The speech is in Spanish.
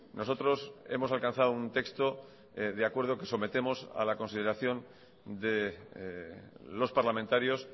nosotros hemos alcanzado un texto de acuerdo que sometemos a la consideración de los parlamentarios